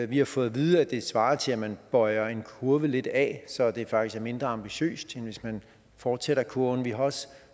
vi har fået at vide at det svarer til at man bøjer en kurve lidt af så det faktisk er mindre ambitiøst end hvis man fortsætter kurven vi har også